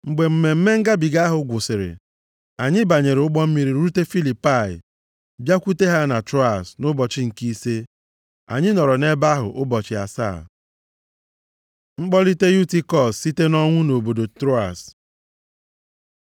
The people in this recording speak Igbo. Mgbe Mmemme Ngabiga ahụ gwụsịrị, anyị banyere ụgbọ mmiri rute Filipai bịakwute ha na Troas nʼụbọchị nke ise. Anyị nọrọ nʼebe ahụ ụbọchị asaa. Mkpọlite Yutikọs site nʼọnwụ nʼobodo Troas